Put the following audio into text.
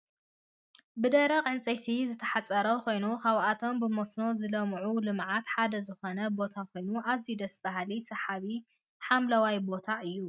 ብደረቅ ዕንፀይትታ ዝተሓፀረ ኮይኑ ካብቶም ብመስኖ ዝለምዑ ልምዓታት ሓደ ዝኮነ ቦታ ኮይኑ ኣዝዩ ደስ ብሃሊን ስሓቢ ሓምለዋይ ቦታ እዩ ።